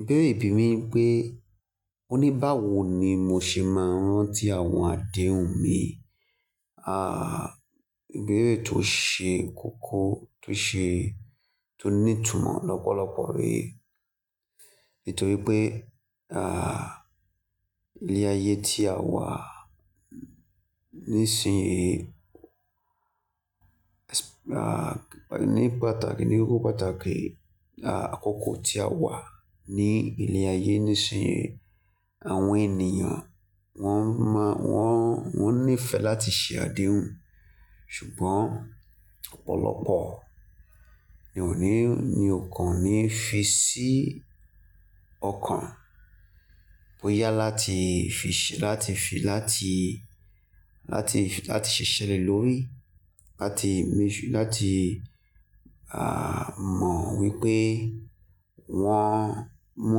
Ìbéèrè ìbí mi pé, o ní báwo ni mo ṣe máa ń rántí àwọn àdéhùn mi? Ah, ìbéèrè tó ṣe kókó, tó ṣe, tó ní ìtumọ̀ lọ́pọ̀lọpọ̀ re nítorí pé, ah, ilé-ayé tí a wà nísin yìí, ah, ní pàtàkì, ní kókó pàtàkì, ah, àkọ́kọ́ tí a wà ní ilé-ayé nísin yìí, àwọn ènìyàn wọ́n mọ́, wọ́n, wọ́n níìfẹ̀ láti ṣe àdéhùn. Ṣùgbọ́n ọ̀pọ̀lọpọ̀ ni ò ní, ní ò kan ní fi sí ọkàn bóyá láti fi ṣẹ, láti fi, láti, láti fi, láti ṣiṣẹ̀ le lórí, láti mọ, láti, ah, mọ̀ wípé wọ́n mú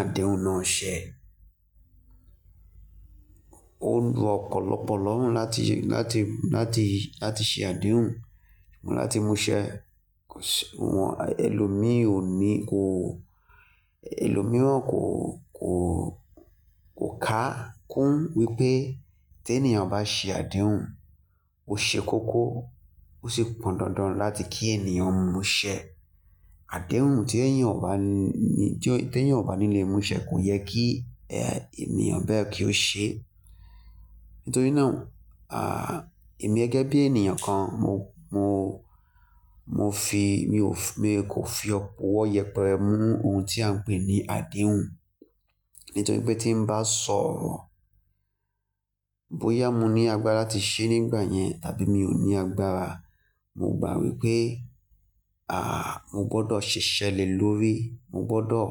àdéhùn náà ṣẹ. Ó ran ọ̀pọ̀lọpọ̀ lọ́hùn láti ṣe, láti, láti, láti ṣe àdéhùn, láti mú ṣẹ. Ṣàwọn ẹlòmíì ò ní, kò, ẹlòmíìran kò, kò, kò ká kún wípé tí ènìyàn bá ṣe àdéhùn, ó ṣe kókó, ó sì pọn dandan láti kí ènìyàn mú ṣẹ. Àdéhùn tí èyàn ò bá ní, tí èyàn ò bá ní lè mú ṣẹ kò yẹ kí, ẹ, ènìyàn bẹ́ẹ̀ kí ó ṣe. Nítorí náà, ah, èmi gẹ́gẹ́ bí ènìyàn kan, mo, mo, mo fi, mi ò f-- mi kò fi ọwọ́ yẹpẹrẹ mú ohun tí à ń pè ní àdéhùn. Nítorí pé tí n bá sọ̀rọ̀, bóyá mo ní agbára láti ṣe é nígbà yẹn tàbí mi ò ní agbára, mo gbà wípé, ah, mo gbọdọ̀ ṣẹ̀ṣẹ̀ le lórí. Mo gbọdọ̀,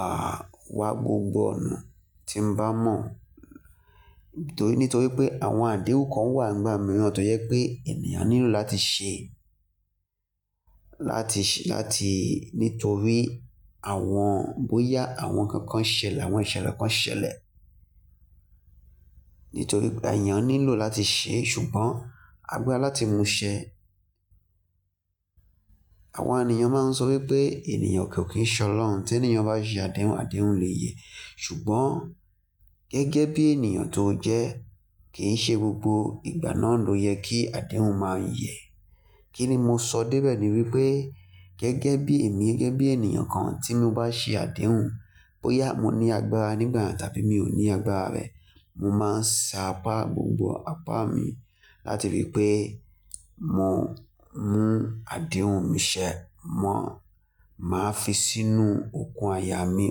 ah, wá gbogbo ọ̀nà tí n bá mọ̀. Nítorí, nítorí pé àwọn àdéhùn kan wà nígbà mìíràn tó jẹ pé ènìyàn nílò láti ṣe, láti ṣe, láti, nítorí àwọn, bóyá àwọn nǹkan kan ṣẹlẹ̀, àwọn ìṣẹ̀lẹ̀ kan ṣẹlẹ̀. Nítorí ènìyàn nílò láti ṣe, ṣùgbọ́n agbára láti mú ṣẹ. Àwọn ènìyàn máa ń sọ wípé ènìyàn kò kí ń solọ̀hùn. Tí ènìyàn bá ṣe àdéhùn, àdéhùn lè yẹ. Ṣùgbọ́n gẹ́gẹ́ bí ènìyàn tó jẹ́, kì í ṣe gbogbo ìgbà náà ló yẹ kí àdéhùn máa yẹ. Kí ni mo sọ débẹ̀ ni wípé gẹ́gẹ́ bí èmi, gẹ́gẹ́ bí ènìyàn kan tí mo bá ṣe àdéhùn, bóyá mo ní agbára nígbà yẹn tàbí mi ò ní agbára rẹ̀, mo máa sa apá gbogbo apá mi láti rí i pé mo mú àdéhùn mi ṣẹ. Mọ̀, màá fi sínú okan àyà mí.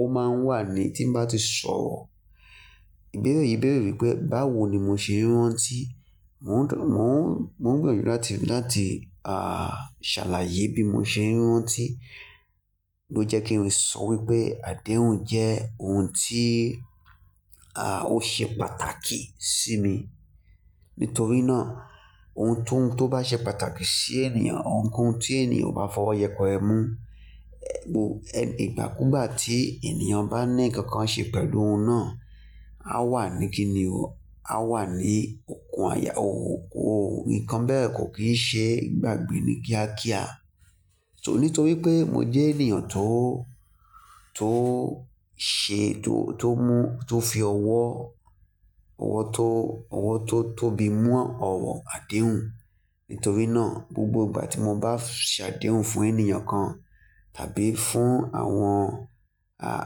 Ó máa ń wà ní tí n bá ti sọ̀rọ̀. Ìbéèrè yìí bèrè wípé báwo ni mo ṣe ń rántí? Mo o mò ń gbinyanju, mò ń gbinyanju láti, láti, ah, ṣàlàyé bí mo ṣe ń rántí. Ó jẹ́ kí n sọ wípé àdéhùn jẹ́ ohun tí, ah, ó ṣe pàtàkì sí mi. Nítorí náà ohun tó, tó bá ṣe pàtàkì sí ènìyàn, ohunkóhun tí ènìyàn bá fọwọ́ yẹpẹrẹ mú, ẹ̀, ìgbàkúgbà tí ènìyàn bá ní nǹkan kan ṣe pẹ̀lú ohun náà, á wà ní kíni ò, á wà ní okùn àyà ó. Òun kan bẹ́ẹ̀ kò kì í ṣe ìgbàgbé ní kíákíá. Ṣò, nítorí pé mo jẹ́ ènìyàn tó, tó ṣe, tó, tó mú, tó fi ọwọ́, ọwọ́ tó, ọwọ́ tó, tó bi mú ọ̀wọ̀ àdéhùn. Nítorí náà gbogbo ìgbà tí mo bá ṣe àdéhùn fún ènìyàn kan tàbí fún àwọn, ah,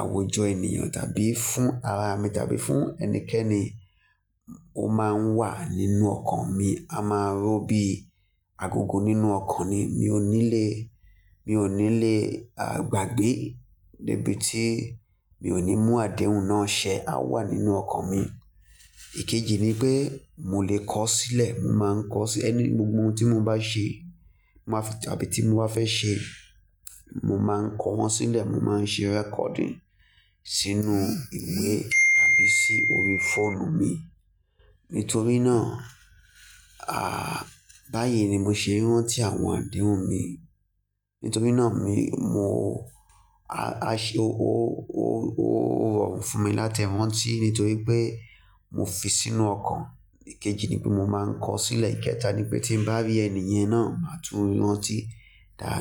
àwùjọ ènìyàn tàbí fún ara mi tàbí fún ẹnikẹ́ni, ó máa ń wà nínú ọkàn mi. A máa ń rò ó bí, agogo nínú ọkàn ni. Mi ò ní lè, mi ò ní lè, ah, gbàgbé níbi tí mi ò ní mú àdéhùn náà ṣẹ. A wà nínú ọkàn mi. Èkejì ni pé mo lè kọ ọ́ sílẹ̀. Mo máa ń kọ ọ́ sí ẹni, gbogbo ohun tí mo bá ṣe, màá fi tàbí tí mo bá fẹ́ ṣe, mo máa ń kọ wọ́n sílẹ̀. Mo máa ń ṣe recording sínú ìwé tàbí sí orí fóònù mi. Nítorí náà, ah, báyìí ni mo ṣe ń rántí àwọn àdéhùn mi. Nítorí náà mi, mo, a ṣe, ó, ó, ó rọrùn fún mi láti rántí nítorí pé mo fi sínú ọkàn. Ẹ̀kẹjì ni pé mo máa ń kọ ọ́ sílẹ̀. Ìkẹta ni pé tí n bá rí ènìyàn náà, màá tún rántí dáadáa.